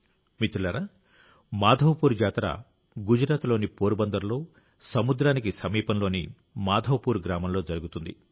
మిత్రులారా మాధవ్పూర్ జాతర గుజరాత్లోని పోర్బందర్లో సముద్రానికి సమీపంలోని మాధవపూర్ గ్రామంలో జరుగుతుంది